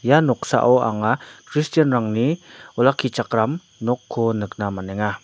ia noksao anga kristianrangni olakkichakram nokko nikna man·enga.